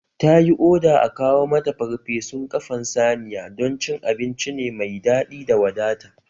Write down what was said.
Ta yi oda a kawo mata parpesun ƙafan saniya don abinci ne mai daɗi da wadata